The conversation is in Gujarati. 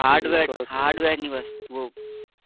hardware hardware